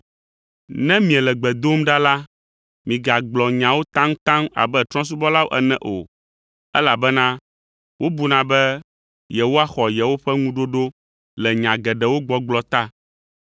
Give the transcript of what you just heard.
Ne miele gbe dom ɖa la, migagblɔ nyawo taŋtaŋ abe trɔ̃subɔlawo ene o, elabena wobuna be yewoaxɔ yewoƒe ŋuɖoɖo le nya geɖewo gbɔgblɔ ta.